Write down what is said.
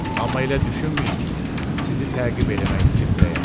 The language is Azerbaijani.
Amma elə düşünməyin ki, sizi təqib eləmək fikrindəyəm.